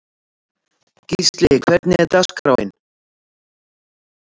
Gísli, hvernig er dagskráin?